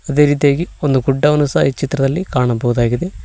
ಅದೇ ರೀತಿಯಾಗಿ ಒಂದು ಗುಡ್ಡವನ್ನು ಸಹ ಈ ಚಿತ್ರದಲ್ಲಿ ಕಾಣಬಹುದಾಗಿದೆ.